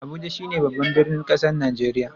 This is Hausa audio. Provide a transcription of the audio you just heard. Abuja shine babban birnin kasan Nijeriya.